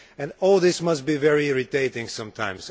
And all this must be very irritating sometimes